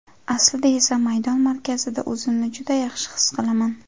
Aslida esa maydon markazida o‘zimni juda yaxshi his qilaman.